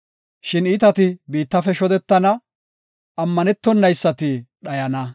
Shin iitati biittafe shodetana; ammanetonaysati dhayana.